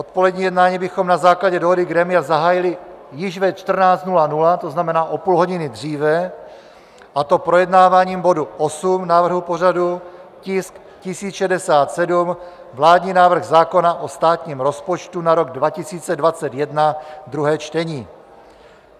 odpolední jednání bychom na základě dohody grémia zahájili již ve 14.00, to znamená o půl hodiny dříve, a to projednáváním bodu 8 návrhu pořadu, tisk 1067 - vládní návrh zákona o státním rozpočtu na rok 2021, 2. čtení;